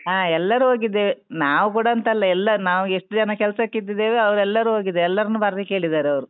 ಹಾ ಎಲ್ಲರು ಹೋಗಿದ್ದೇವೆ, ನಾವು ಕೂಡ ಅಂತ ಅಲ್ಲ, ಎಲ್ಲ ನಾವು ಎಷ್ಟು ಜನ ಕೆಲಸಕ್ಕೆ ಇದ್ದುದ್ದೇವೆ ಅವ್ರೆಲ್ಲರೂ ಹೋಗಿದ್ದೇವೆ, ಎಲ್ಲರನ್ನು ಬರ್ಲಿಕ್ಕೆ ಹೇಳಿದ್ದರೆ ಅವ್ರು .